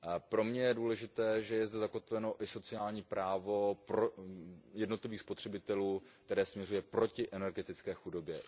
Pro mě je důležité, že je zde zakotveno i sociální právo jednotlivých spotřebitelů, které směřuje proti energetické chudobě.